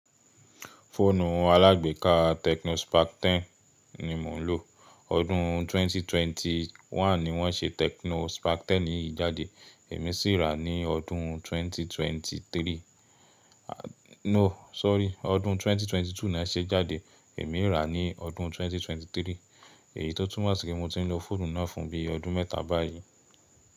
Fóònù alágbèéká Tecno Spark 10 ni mò ń lò. Ọdún 2021 ni wọ́n ṣe Tecno Spark 10 yìí jáde, èmi sì rà á ní ọdún 2023. No, sorry ọdún 2022 ni won ṣe é jáde, èmi rà á ní ọdún 2023. Èyí tó túnmọ̀ sí pé mo ti ń lo fóònù náà fún bí i ọdún méta báyìí.